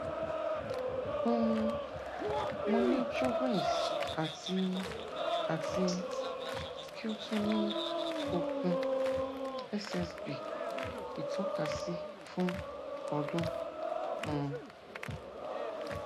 um mo ni sjogrens ati ati ki o tun ni okun ssb itọkasi fun odun um